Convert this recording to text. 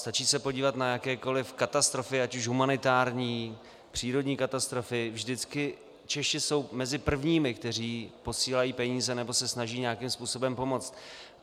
Stačí se podívat na jakékoliv katastrofy, ať už humanitární, přírodní katastrofy, vždycky Češi jsou mezi prvními, kteří posílají peníze nebo se snaží nějakým způsobem pomoct.